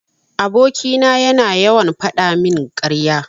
Aboki na yana yawan fadamin karya.